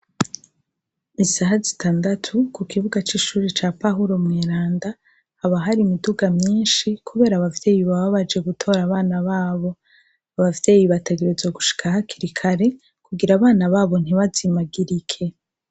Isaha zitandatu kukibuga c'ishure ca pawuro mweranda haba har'imiduga myinshi kubera abavyeyi baba baje gutora abana babo, abavyeyi bategerezwa gushika hakiri kare kugira abana babo ntibazemagirike.